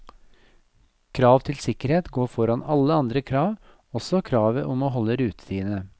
Krav til sikkerhet går foran alle andre krav, også kravet om å holde rutetidene.